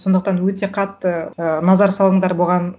сондықтан өте қатты ыыы назар салыңдар бұған